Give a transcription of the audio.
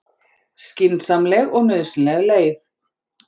Skynsamleg og nauðsynleg leið